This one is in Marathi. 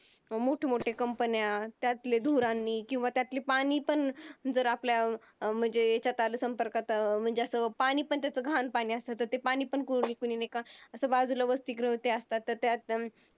मोठमोठे Company त्यातले धुरांनी किंवा त्यातले पाणी पण जर आपल्या अं म्हणजे आपल्या ह्याच्यात आलं, संपर्कात आलं म्हणजे असं पाणी पण त्याचं घाण पाणी असतं म्हणजे ते पाणी पण कुणी पिऊ नये का? असं बाजूला वसतिगृह वगैरे असतात